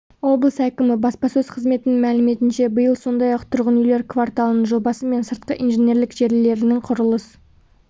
облыс әкімі баспасөз қызметінің мәліметінше биыл сондай-ақ тұрғын үйлер кварталының жобасы мен сыртқы инженерлік желілерінің құрылыс